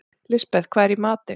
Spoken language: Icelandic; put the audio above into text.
Lisbeth, hvað er í matinn?